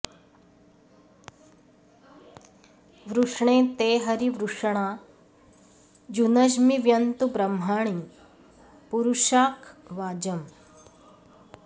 वृष्णे॑ ते॒ हरी॒ वृष॑णा युनज्मि॒ व्यन्तु॒ ब्रह्मा॑णि पुरुशाक॒ वाज॑म्